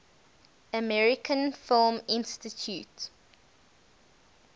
american film institute